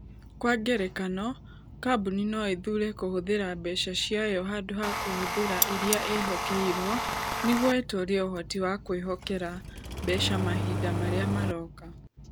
Kwa ngerekano, kambuni no ĩthuure kũhũthĩra mbeca ciayo handũ ha kũhũthĩra iria ĩĩhokeirũo nĩguo ĩtũũrie ũhoti wa kwĩhokera mbeca mahinda marĩa maroka.